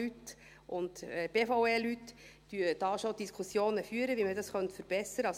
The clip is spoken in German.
FIN und BVE-Leute führen dazu schon Diskussionen, wie man das verbessern könnte.